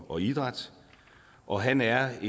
og idræt og han er